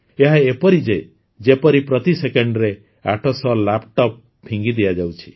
ଏହା ଏପରି ଯେ ଯେପରି ପ୍ରତି ସେକେଣ୍ଡରେ ୮୦୦ ଲାପଟପ ଫିଙ୍ଗିଦିଆଯାଉଛି